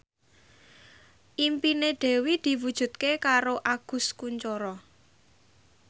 impine Dewi diwujudke karo Agus Kuncoro